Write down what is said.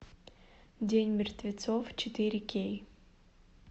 день мертвецов четыре кей